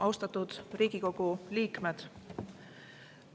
Austatud Riigikogu liikmed!